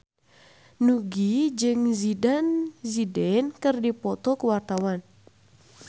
Nugie jeung Zidane Zidane keur dipoto ku wartawan